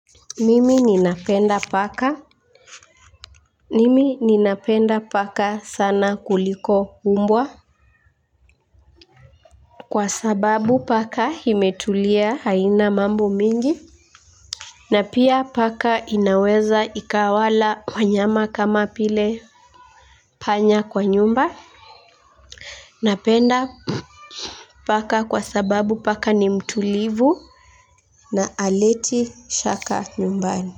Mimi ninapenda paka. Mimi ninapenda paka sana kuliko mbwa. Kwa sababu paka imetulia haina mambo mingi. Na pia paka inaweza ikawala wanyama kama vile panya kwa nyumba napenda paka kwa sababu paka ni mtulivu. Na haleti shaka nyumbani.